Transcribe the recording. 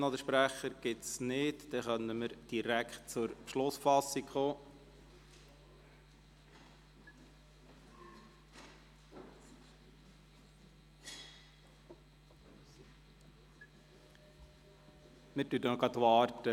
Der Kommissionssprecher für den Raumplanungsbericht hat angekündigt, er brauche maximal sieben Minuten.